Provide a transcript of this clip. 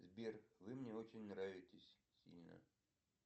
сбер вы мне очень нравитесь сильно